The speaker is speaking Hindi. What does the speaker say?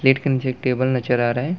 प्लेट के नीचे एक टेबल नजर आ रहा है।